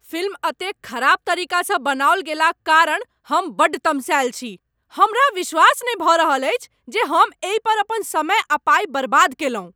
Film एतेक खराब तरीकासँ बनाओल गेलाक कारण हम बड्ड तमसाएल छी। हमरा विश्वास नहि भऽ रहल अछि जे हम एहि पर अपन समय आ पाइ बर्बाद केलहुँ।